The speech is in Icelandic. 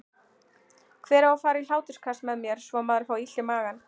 Hver á að fara í hláturskast með mér svo maður fái illt í magann?